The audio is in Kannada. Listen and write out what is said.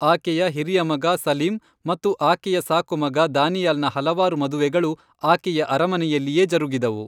ಆಕೆಯ ಹಿರಿಯ ಮಗ ಸಲೀಂ ಮತ್ತು ಆಕೆಯ ಸಾಕುಮಗ ದಾನಿಯಾಲ್ನ ಹಲವಾರು ಮದುವೆಗಳು ಆಕೆಯ ಅರಮನೆಯಲ್ಲಿಯೇ ಜರುಗಿದವು.